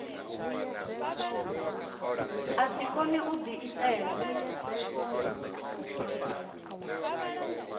a si kone u diitela